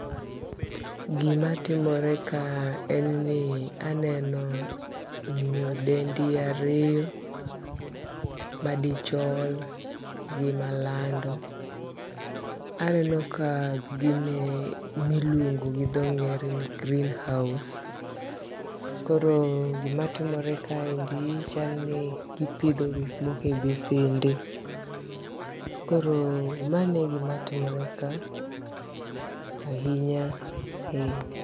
Gimatimore ka en ni aneno nyadendi ariyo, madichol gi malando. Aneno ka gin e miluongo gi dho ngere ni greenhouse. Koro gimatimore kae en ni chal ni gipidho gik moko e bisende. Koro mano e gimatimore ka ahinya.